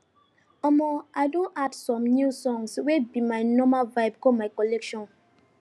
omo i don add some new songs wey be my normal vibe go my collection